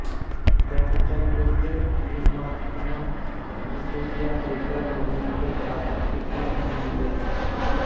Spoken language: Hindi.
डोमचक नृत्य की मनमोहक प्रस्तुति देकर घुघरी के छात्राें की टीम बनी विजेता